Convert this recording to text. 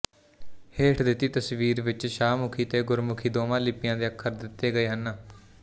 ਹੇਠ ਦਿੱਤੀ ਤਸਵੀਰ ਵਿੱਚ ਸ਼ਾਹਮੁਖੀ ਤੇ ਗੁਰਮੁਖੀ ਦੋਵਾਂ ਲਿਪੀਆਂ ਦੇ ਅੱਖਰ ਦਿੱਤੇ ਗਏ ਨੇ